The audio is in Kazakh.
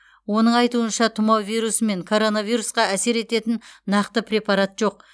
оның айтуынша тұмау вирусы мен коронавирусқа әсер ететін нақты препарат жоқ